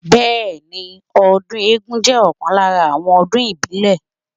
Bẹẹni, ọdún eégún jẹ́ ọ̀kan lára àwọn ọdún ìbílẹ̀.